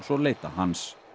leita hans